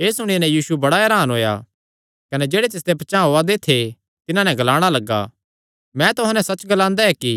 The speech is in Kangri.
एह़ सुणी नैं यीशु बड़ा हरान होएया कने जेह्ड़े तिसदे पचांह़ ओआ दे थे तिन्हां नैं ग्लाणा लग्गा मैं तुहां नैं सच्च ग्लांदा ऐ कि